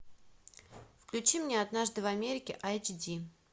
включи мне однажды в америке айч ди